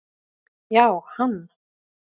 Já, hann